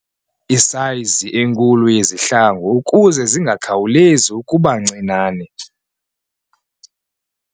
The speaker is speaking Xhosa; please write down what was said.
isayizi enkulu yezihlangu ukuze zingakhawulezi ukuba ncinane.